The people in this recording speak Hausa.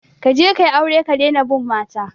Kaje kayi aure ka dina bin mata